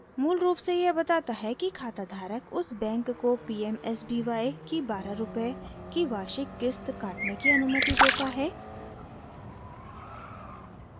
मूलरूप से यह बताता है कि खाता धारक उस बैंक को pmsby की 12/ रूपए की वार्षिक क़िस्त काटने की अनुमति देता है